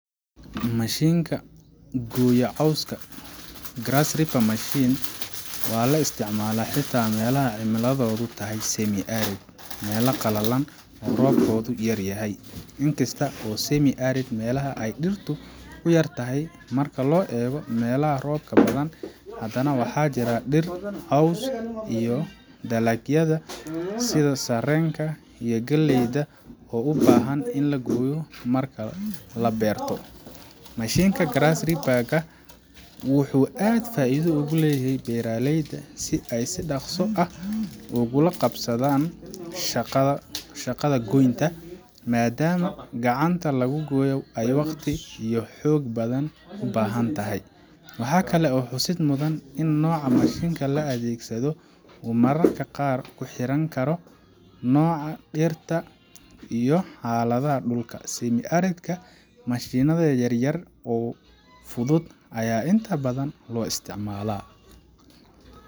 Mashiinka gooya cawska grass reaper machine waa la isticmaalaa xitaa meelaha cimiladoodu tahay semi-arid meelo qalalan oo roobkoodu yar yahay. Inkasta oo semi-arid meelaha ay dhirtu ka yar tahay marka loo eego meelaha roobka badan, haddana waxaa jira dhir, caws, iyo dalagyada sida sarreenka iyo galleyda oo u baahan in la gooyo marka la beerto. Mashiinka grass reaper ka wuxuu aad faa'iido ugu leeyahay beeraleyda si ay si dhakhso ah ugula qabsadaan shaqada shaqada goynta, maadaama gacanta lagu gooyaa ay waqti iyo xoog badan u baahan tahay. Waxaa kale oo xusid mudan in nooca mashiinka la adeegsado uu mararka qaar ku xirnaan karo nooca dhirta iyo xaaladda dhulka semi-arid ka mashiinnada yaryar oo fudud ayaa inta badan loo isticmaalaa.